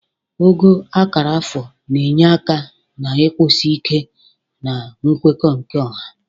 Ogo akara afọ na-enye aka na nkwụsi ike na nkwekọ nke ọha.